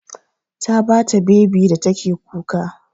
Ta ba ta bebi da take kuka.